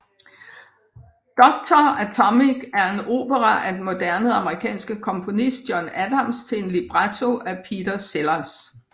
Doctor Atomic er en opera af den moderne amerikanske komponist John Adams til en libretto af Peter Sellars